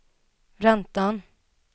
räntan